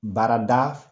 Baarada